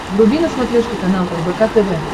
вруби на смотрешке канал рбк тв